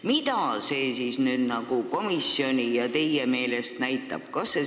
Mida see komisjoni ja teie meelest näitab?